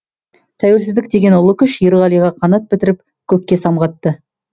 тәуелсіздік деген ұлы күш ерғалиға қанат бітіріп көкке самғатты